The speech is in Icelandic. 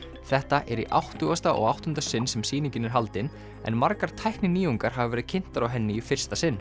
þetta er í átttugasta og áttunda sinn sem sýningin er haldin en margar tækninýjungar hafa verið kynntar á henni í fyrsta sinn